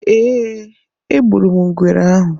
Ee, egburu m ngwere ahụ.